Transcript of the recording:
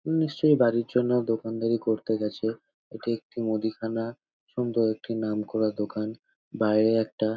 নিশ্চয়ই বাড়ির জন্য দোকানদারি করতে গেছে। এটি একটি মুদিখানা সুন্দর একটি নামকরা দোকান। বাইরে একটা --